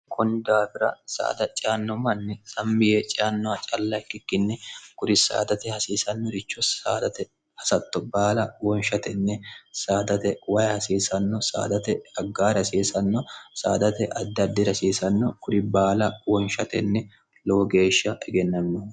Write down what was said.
hkunni daawira saada cianno manni sammi yee ciannoha calla kikikkinni guri saadate hasiisannoricho saadate hasatto baala wonshatenni saadate wayi hasiisanno saadate aggaari hasiisanno saadate addaddi rasiisanno guri baala wonshatenni lowo geeshsha egennanno